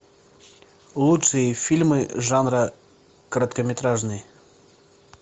лучшие фильмы жанра короткометражный